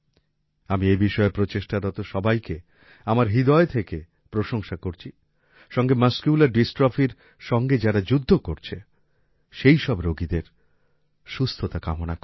আমি এই বিষয়ে প্রচেষ্টারত সবাইকে আমার হৃদয় থেকে প্রশংসা করছি সঙ্গে মাসকুলার Dystrophyর সঙ্গে যারা যুদ্ধ করছে সেইসব রোগীদের সুস্থতা কামনা করি